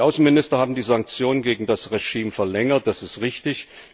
Die Außenminister haben die Sanktionen gegen das Regime verlängert, das ist richtig.